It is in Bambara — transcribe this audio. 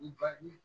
U ba ɲɛn